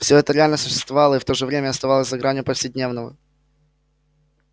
всё это реально существовало и в то же время оставалось за гранью повседневного